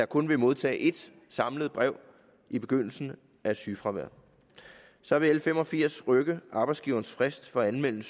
kun vil modtage ét samlet brev i begyndelsen af sygefraværet så vil l fem og firs rykke arbejdsgivernes frist for at anmelde